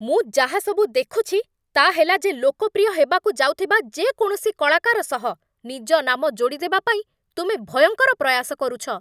ମୁଁ ଯାହା ସବୁ ଦେଖୁଛି ତା'ହେଲା, ଯେ ଲୋକପ୍ରିୟ ହେବାକୁ ଯାଉଥିବା ଯେକୌଣସି କଳାକାର ସହ ନିଜ ନାମ ଯୋଡ଼ିଦେବା ପାଇଁ ତୁମେ ଭୟଙ୍କର ପ୍ରୟାସ କରୁଛ।